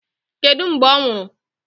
Kedụ mgbe ọ nwụrụ?